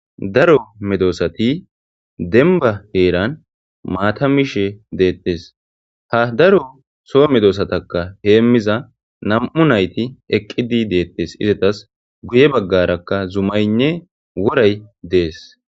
Daro medosati demba heran maata miishsh de'tes. Ha daro sok medosatakka hemiza nam'h naytti eqqidi deetes. Izetadikka guye baggara zumaynee woray dees.